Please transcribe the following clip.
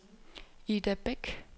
Ida Beck